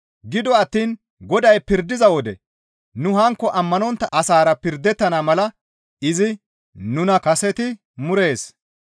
Gido attiin Goday pirdiza wode nu hankko ammanontta asaara pirdettontta mala izi nuna kaseti murees.